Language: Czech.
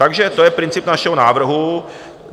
Takže to je princip našeho návrhu.